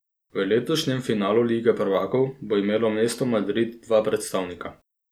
V letošnjem finalu Lige prvakov bo imelo mesto Madrid dva predstavnika.